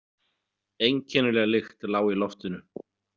Einkennileg lykt lá í loftinu.